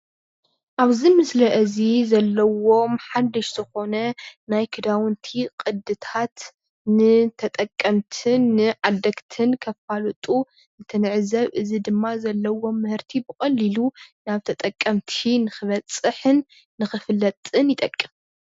ኣብዚ ምስሊ እዚ ዘሎዎም ሓደሽቲ ዝኮነ ናይ ክዳውቲ ቅድታት ንተጠቀምቲን ንዓደግትን እንተፋልጡ እንትንዕዘብ እዚ ድማ ዘለዎም ምህርቲ ብቀሊሉ ናብ ተጠቀምቲ ንክበፅሕን ንክፍለጥን ይጠቅም፡፡